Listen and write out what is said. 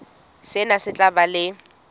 sena se tla ba le